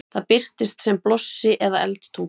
það birtist sem blossi eða eldtunga